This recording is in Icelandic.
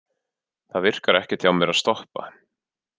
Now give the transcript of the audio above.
Það virkar ekkert hjá mér að stoppa.